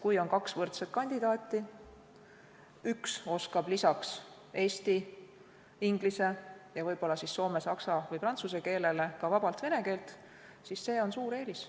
Kui on kaks võrdset kandidaati, üks oskab lisaks eesti, inglise ja võib-olla soome, saksa või prantsuse keelele ka vabalt vene keelt, siis see on suur eelis.